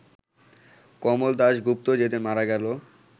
কমল দাশগুপ্ত যেদিন মারা গেল